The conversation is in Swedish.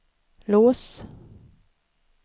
lås